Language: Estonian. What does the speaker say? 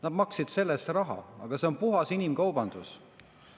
Nad maksid selle eest raha, aga see on puhas inimkaubandus.